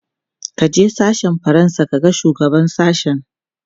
kaje sashen fransa ka ga shugaban sashen!